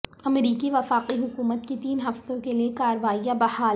امریکی وفاقی حکومت کی تین ہفتوں کے لیے کاروائیاں بحال